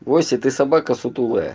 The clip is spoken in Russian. вася ты собака сутулая